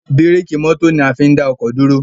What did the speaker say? bírékì mọ́tò ní a fín dá oko dúró.